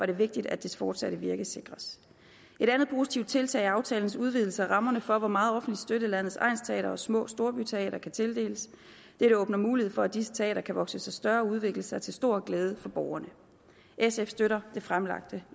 det vigtigt at dets fortsatte virke sikres et andet positivt tiltag er aftalens udvidelse af rammerne for hvor meget offentlig støtte landets egnsteatre og små storbyteatre kan tildeles dette åbner mulighed for at disse teatre kan vokse sig større og udvikle sig til stor glæde for borgerne sf støtter det fremlagte